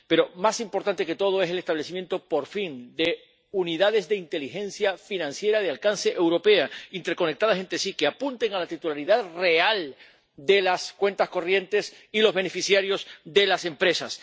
Pero más importante que todo es el establecimiento, por fin, de unidades de inteligencia financiera de alcance europeo, interconectadas entre sí, que apunten a la titularidad real de las cuentas corrientes y los beneficiarios de las empresas.